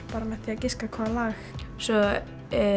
bara með því að giska hvaða lag svo